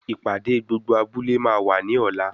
Ìpàdé gbogbo abúlé máa wà ní ọ̀la.